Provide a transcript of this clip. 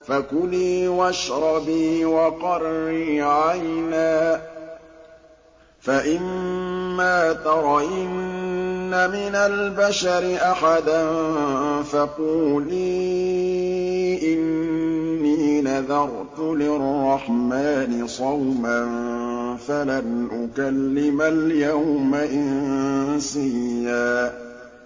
فَكُلِي وَاشْرَبِي وَقَرِّي عَيْنًا ۖ فَإِمَّا تَرَيِنَّ مِنَ الْبَشَرِ أَحَدًا فَقُولِي إِنِّي نَذَرْتُ لِلرَّحْمَٰنِ صَوْمًا فَلَنْ أُكَلِّمَ الْيَوْمَ إِنسِيًّا